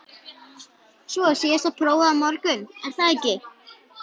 Svo er síðasta prófið á morgun, er það ekki?